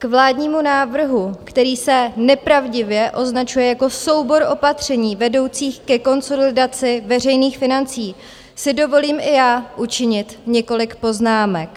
K vládnímu návrhu, který se nepravdivě označuje jako soubor opatření vedoucích ke konsolidaci veřejných financí, si dovolím i já učinit několik poznámek.